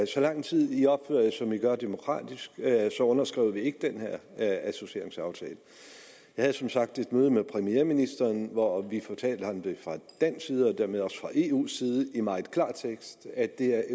så lang tid i opfører jer som i gør demokratisk så underskriver vi ikke den her associeringsaftale jeg havde som sagt et møde med premierministeren hvor vi fra dansk side og dermed også fra eus side i meget klar tekst at det er